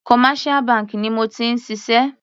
Commercial bank ni mo ti ń ṣiṣẹ́.